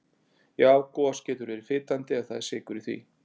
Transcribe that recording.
Já gos getur verið fitandi ef það er sykur í því.